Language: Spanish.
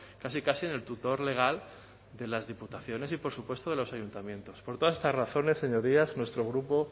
casi casi en el tutor legal de las diputaciones y por supuesto de los ayuntamientos por todas estas razones señorías nuestro grupo